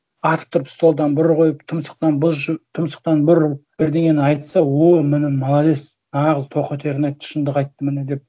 атып тұрып столдан бір қойып тұмсықтан тұмсықтан бір ұрып бірдеңені айтса о міні молодец нағыз тоқетерін айтты шындық айтты міні деп